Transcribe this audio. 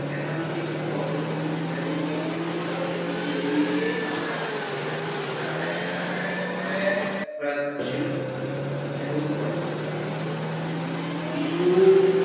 એમાંથી કેટલું positive રહેવું કે કેટલું positivity લેવી એ તમારા પોતાના જ હાથમાં છે અને એના માટે તમારે પ્રયત્નશીલ રહેવું જ પડશે બીજું